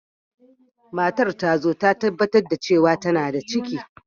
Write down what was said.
Matar ta zo ta tabbatar da cewa tana da ciki.